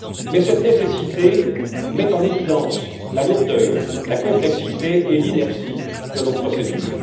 Mais cette nécessité met en évidence la lourdeur, la complexité et l'inertie de nos procédures.